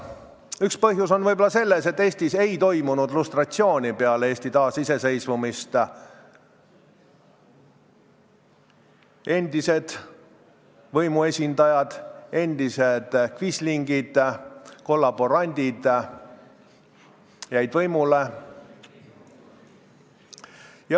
Üks põhjusi on võib-olla selles, et Eestis ei toimunud peale Eesti taasiseseisvumist lustratsiooni: endised võimuesindajad, kvislingid, kollaborandid jäid võimule.